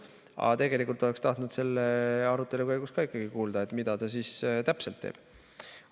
Aga tegelikult oleks tahtnud selle arutelu käigus ka ikkagi kuulda, mida seadus täpselt teeb.